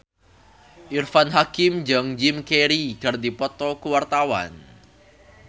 Irfan Hakim jeung Jim Carey keur dipoto ku wartawan